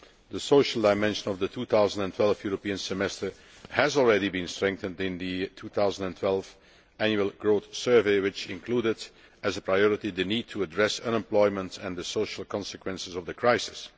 The social dimension of the 2012 European Semester has already been strengthened in the 2012 annual growth survey, which included as a priority the need to address unemployment and the social consequences of the crisis.